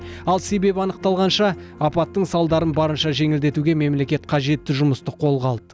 ал себеп анықталғанша апаттың салдарын барынша жеңілдетуге мемлекет қажетті жұмысты қолға алды